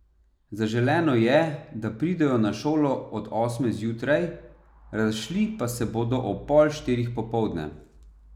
Zaželeno je, da pridejo na šolo do osme zjutraj, razšli pa se bodo ob pol štirih popoldne.